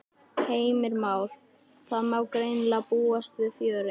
Heimir Már: Það má greinilega búast við fjöri?